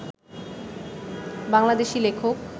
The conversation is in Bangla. বাংলাদেশী লেখক